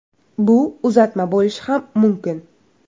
Bu uzatma bo‘lishi ham mumkin.